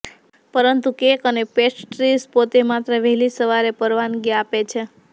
પરંતુ કેક અને પેસ્ટ્રીઝ પોતે માત્ર વહેલી સવારે પરવાનગી આપે છે